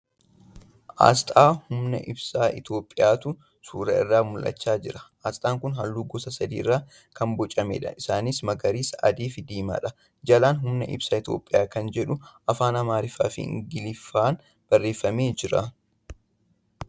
Asxaa humna ibsaa Itiyoophiyaatu suura irraa mul'achaa jira. Asxaan kun halluu gosa sadii irraa kan bocameedha. Isaaniis magariisa, adii fi diimaadha. Jalaan humna ibsaa Itiyoophiyaa kan jedhu Afaan amaariffaa fi Ingiliffaan barreeffamee jira.